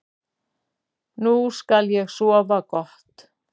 Nú skal ég sofa gott.